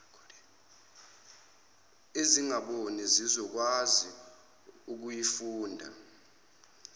ezingaboni zizokwazi ukuyifunda